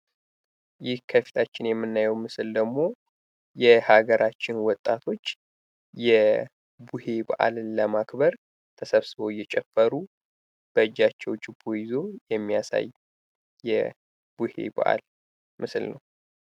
ይህ ከፊታችን የምናየው ምስል ደግሞ የሀገራችን ወጣቶች የቡሄ በአልን ለማክበር ተሰብስበው እየጨፈሩ በእጃቸው ችቦ ይዘው የሚያሳይ የቡሄ በአል ምስል ነው።